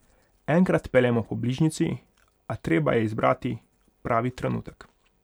Enkrat peljemo po bližnjici, a treba je izbrati pravi trenutek.